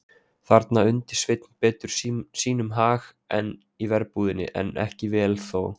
Þarna undi Sveinn betur sínum hag en í verbúðinni, en ekki vel þó.